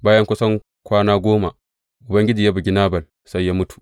Bayan kusan kwana goma, Ubangiji ya bugi Nabal, sai ya mutu.